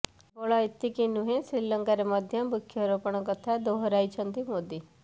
କେବଳ ଏତିକି ନୁହେଁ ଶ୍ରୀଲଙ୍କାରେ ମଧ୍ୟ ବୃକ୍ଷରୋପଣ କଥା ଦୋହରାଇଛନ୍ତି ମୋଦି